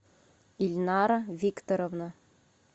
ильнара викторовна